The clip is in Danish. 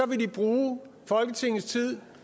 vil de bruge folketingets tid